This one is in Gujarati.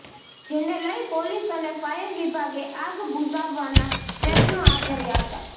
જેને લઇ પોલીસ અને ફાયર વિભાગે આગ બુઝાવવાના પ્રયત્નો હાથ ધર્યા હતા